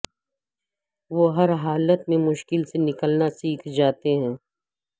وہ ہر حالت میں مشکل سے نکلنا سیکھ جاتے ہیں